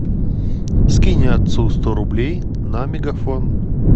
скинь отцу сто рублей на мегафон